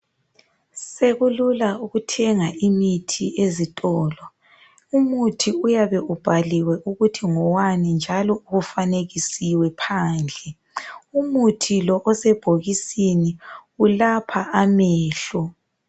Sekulula ukuthenga imithi ezitolo. Umuthi uyabe ubhaliwe ukuthi ngowani njalo ufanekisiwe phandle. Umuthi lo osebhokisini ulapha amehlo.